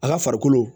A ka farikolo